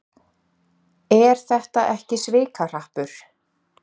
Er þetta ekki svikahrappur?